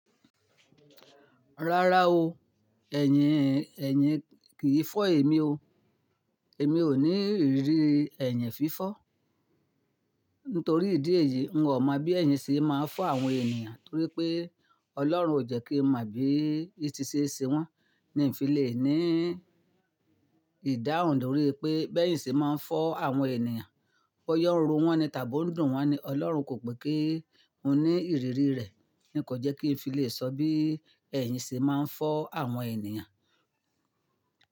Rárá o, ẹ̀yin, ẹ̀yin kìí fọ́ èmi o. Èmi ò ní ìrírí ẹ̀yin fífọ́. Nítorí ìdí èyí, n ò mọ̀ bí ẹ̀yìn ṣe máa ń fọ́ àwọn ènìyàn torí pé Ọlọ́run ò jẹ́ kí n mọ̀ bí i ti ṣe ṣe wọ́n. Mi fi lè ní ìdáhùn lórí pé bẹ́ẹ̀ yín ṣe máa ń fọ́ àwọn ènìyàn. Bó yá ó ń ro wọ́n ni tàbí ó ń dùn wọ́n ni Ọlọ́run kò pé kí n ní ìrírí rẹ̀. Ní kò jẹ́ kí n fi lè sọ bí ẹ̀yìn ṣe máa ń fọ́ àwọn ènìyàn.